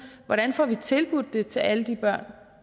hvordan vi får det tilbudt til alle de børn